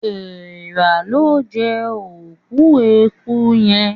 Èèrà lọ jé òkú ẹkú yén